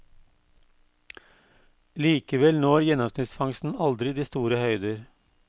Likevel når gjennomsnittsfangsten aldri de store høyder.